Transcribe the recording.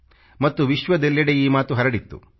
ಮತ್ತು ವಿಶ್ವದೆಲ್ಲೆಡೆ ಈ ಮಾತು ಹರಡಿತ್ತು